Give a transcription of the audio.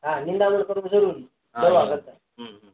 હા નીદામણ કરવું જરૂરી દવા કરતા